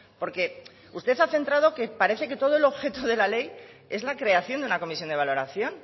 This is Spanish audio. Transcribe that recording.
porque usted se ha centrado que parece que todo el objeto de la ley es la creación de una comisión de valoración